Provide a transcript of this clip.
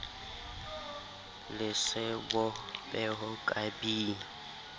le sebo peho ka b